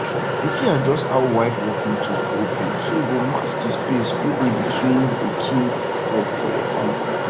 you fit adjust how wide working tools go open so e go match the space wey dey between dey kin crops for your farm